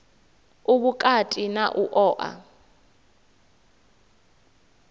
u vhukati na u oa